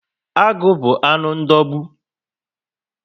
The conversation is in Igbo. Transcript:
Agụ bu anụ ndogbu